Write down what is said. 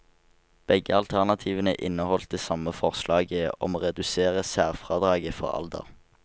Begge alternativene inneholdt det samme forslaget om å redusere særfradraget for alder.